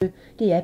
DR P1